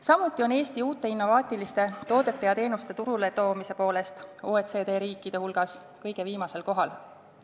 Samuti on Eesti uute innovaatiliste toodete ja teenuste turule toomise poolest OECD riikide hulgas kõige viimasel kohal.